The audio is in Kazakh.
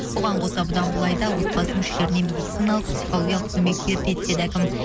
оған қоса бұдан былай да отбасы мүшелеріне медициналық психологиялық көмек беріледі деді әкім